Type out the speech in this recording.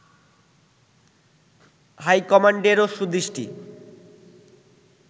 হাইকমান্ডেরও সুদৃষ্টি